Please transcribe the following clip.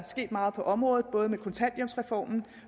sket meget på området både med kontanthjælpsreformen